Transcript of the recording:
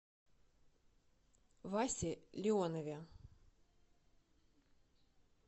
васе леонове